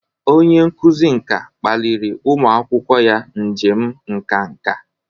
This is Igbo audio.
Onye nkuzi nka kpaliri ụmụ akwụkwọ ya njem nka nka.